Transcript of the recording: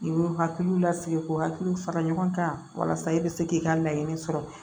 I b'u hakiliw lasigi k'u hakiliw fara ɲɔgɔn kan walasa i bɛ se k'i ka laɲini sɔrɔ